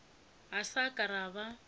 ga sa ka ra ba